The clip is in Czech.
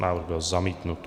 Návrh byl zamítnut.